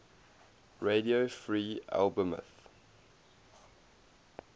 radio free albemuth